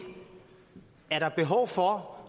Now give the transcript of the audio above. er der behov for